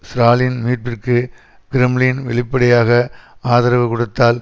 Stalin மீட்பிற்கு Kremlin வெளிப்படையாக ஆதரவு கொடுத்தால்